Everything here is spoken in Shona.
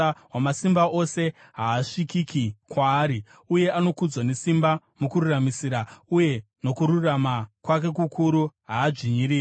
Wamasimba Ose haasvikiki kwaari uye anokudzwa nesimba; mukururamisira uye nokururama kwake kukuru haadzvinyiriri.